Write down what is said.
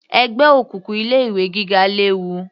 Ẹgbẹ́ òkùnkùn ilé ìwé gíga léwu